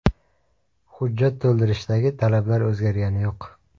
Hujjat to‘ldirishdagi talablar o‘zgargani yo‘q.